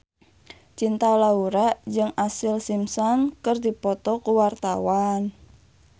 Cinta Laura jeung Ashlee Simpson keur dipoto ku wartawan